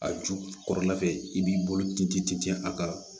A ju kɔrɔla fɛ i b'i bolo ten tɛntɛn a ka